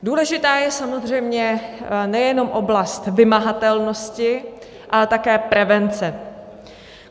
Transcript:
Důležitá je samozřejmě nejenom oblast vymahatelnosti, ale také prevence.